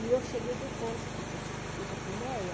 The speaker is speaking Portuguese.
E eu cheguei depois, porque eu fui para a Crimeia.